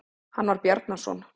Hann var Bjarnason.